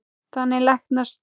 Þannig læknast